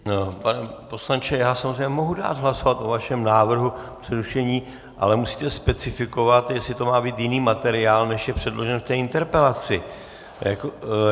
Pane poslanče, já samozřejmě mohu dát hlasovat o vašem návrhu přerušení, ale musíte specifikovat, jestli to má být jiný materiál, než je předložený k té interpelaci.